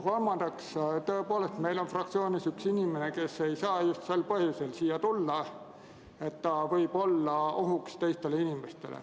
Kolmandaks, tõepoolest on meil fraktsioonis üks inimene, kes ei saa just sel põhjusel siia tulla, et ta võib olla ohuks teistele inimestele.